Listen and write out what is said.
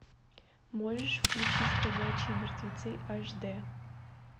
можешь включить ходячие мертвецы аш д